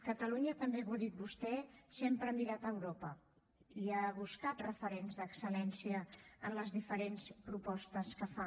catalunya també ho ha dit vostè sempre ha mirat a europa i ha buscat referents d’excel·lència en les diferents propostes que fa